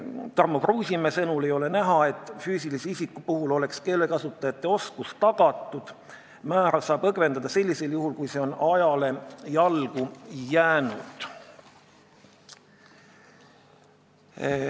Tarmo Kruusimäe sõnul ei ole näha, et füüsilistest isikutest keelekasutajate keeleoskus oleks tagatud, määra saab langetada sellisel juhul, kui see on ajale jalgu jäänud.